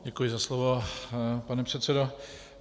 Děkuji za slovo, pane předsedo.